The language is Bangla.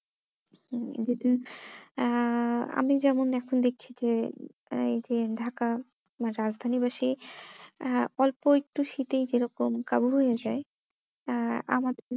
আহ আমি যেমন এখন দেখছি যে এই যে ঢাকা বা বাসি আহ অল্প একটু শীতেই কেরকম কাবু হয়ে যাই আহ আমাদের